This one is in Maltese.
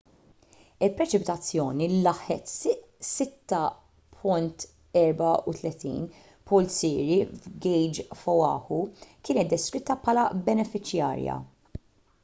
il-preċipitazzjoni li laħqet 6.34 pulzieri f'gejġ f'oahu kienet deskritta bħala benefiċjarja